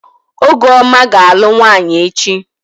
Ọgụọma ga-alụ nwaanyị echi.